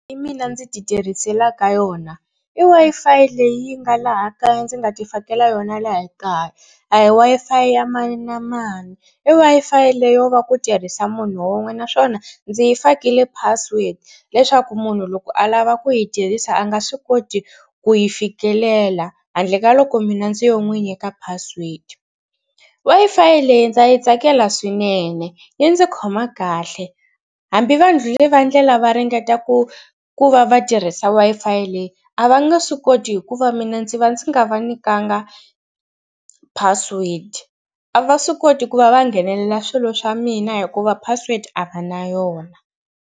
mina ndzi titirhisela ka yona i Wi-Fi leyi yi nga laha kaya ndzi nga tifakela yona laha kaya. A hi Wi-Fi ya mani na mani i Wi-Fi leyo va ku tirhisa munhu wun'we naswona ndzi yi fakile password leswaku munhu loko a lava ku yi tirhisa a nga swi koti ku yi fikelela handle ka loko mina ndzi yo n'wi nyika password. Wi-Fi leyi ndzi yi tsakela swinene yi ndzi khoma kahle hambi vandlhuli va ndlela va ringeta ku ku va va tirhisa Wi-Fi leyi a va nge swi koti hikuva mina ndzi va ndzi nga va nyikanga password. A va swi koti ku va va nghenelela swilo swa mina hikuva password a va na yona.